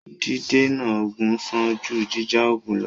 Dídènà ogun sàn jù jíjà ogun lọ́.